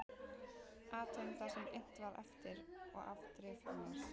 Athugum það sem innt var eftir og afdrif annars